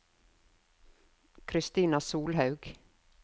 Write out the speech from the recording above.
Kristina Solhaug